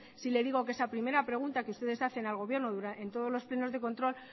sí le digo que esa primera pregunta que ustedes hacen al gobierno en todos los plenos de control